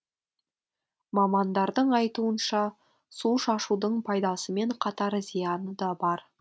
мамандардың айтуынша су шашудың пайдасымен қатар зияны да бар